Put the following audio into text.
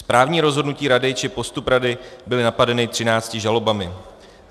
Správní rozhodnutí rady či postup rady byly napadeny 13 žalobami.